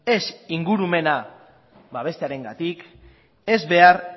ez ingurumena babestearengatik ez behar